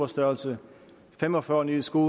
størrelse fem og fyrre ned i en sko